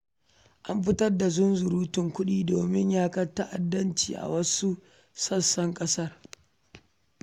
An fitar da zunzurutun kuɗi don yaƙar ta'addanci a wasu yankunan ƙasar.